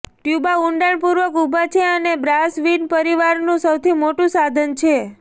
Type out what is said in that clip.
ટ્યુબા ઊંડાણપૂર્વક ઊભા છે અને બ્રાસવિન્ડ પરિવારનું સૌથી મોટું સાધન છે